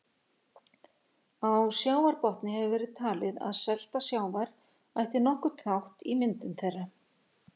Á sjávarbotni hefur verið talið að selta sjávar ætti nokkurn þátt í myndun þeirra.